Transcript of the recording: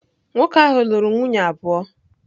Nwoke ahụ lụrụ nwunye abụọ.